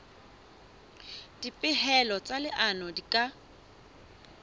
dipehelo tsa leano di ka